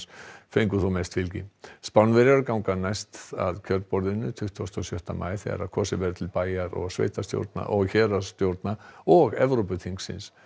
fengu þó mest fylgi Spánverjar ganga næst að kjörborðinu tuttugasta og sjötta maí þegar kosið verður til bæjar og héraðsstjórna og héraðsstjórna og Evrópuþingsins